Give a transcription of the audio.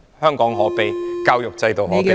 香港可悲......教育制度可悲。